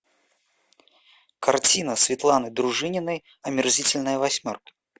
картина светланы дружининой омерзительная восьмерка